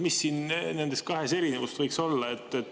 Mis nende kahe erinevus võiks olla?